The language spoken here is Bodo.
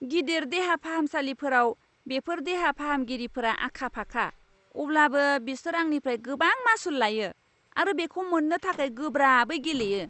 गिदिर देहा फाहामसालिफोराव बेफोर देहा फाहामगिरिफोरा आखा फाखा, अब्लाबो बिसोर आंनिफ्राय गोबां मासुल लायो आरो बेखौ मोननो थाखाय गोब्राबै गेलेयो।